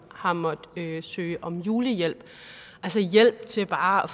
har måttet søge om julehjælp altså hjælp til bare